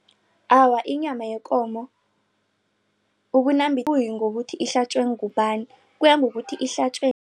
Awa, inyama yekomo ayiyingokuthi ihlatjwe ngubani kuyangokuthi ihlatjwe